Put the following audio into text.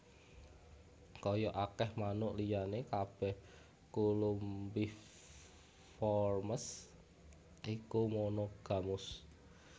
Kaya akèh manuk liyané kabèh Columbiformes iku monogamus